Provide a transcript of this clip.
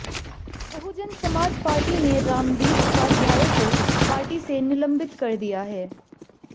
बहुजन Samaj party ने रामवीर उपाध्याय को party से निलंबित कर दिया है